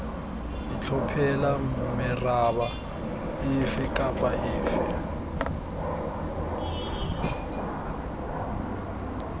itlhophela meraba efe kapa efe